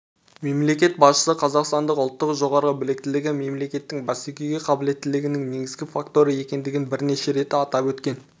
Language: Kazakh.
мемлекет басшысы қазақстандық ұлттың жоғары біліктілігі мемлекеттің бәсекеге қабілеттілігінің негізгі факторы екендігін бірнеше рет атап өткен